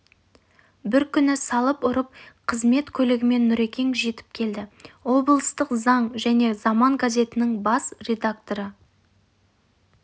бір күні салып ұрып қызмет көлігімен нүрекең жетіп келді облыстық заң және заман газетінің бас редакторы